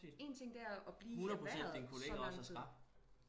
En ting det er at blive i erhvervet så lang tid